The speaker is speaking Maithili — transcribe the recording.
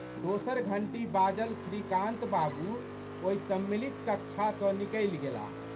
दोसर घंटी बाजल श्रीकान्त बाबू ओहि सम्मिलित कक्षा सँ निकलि गेलाह।